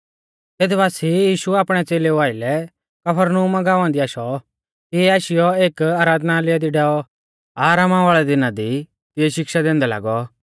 तेत बासिऐ यीशु आपणै च़ेलेऊ आइलै कफरनहूम गाँवा दी आशौ तिऐ आशीयौ एक आराधनालय दी डैऔ आरामा वाल़ै दिना दी तिऐ शिक्षा दैंदै लागौ